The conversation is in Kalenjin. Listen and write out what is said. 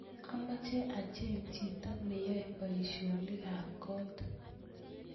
amoche acheng chito neyai boisionikab kot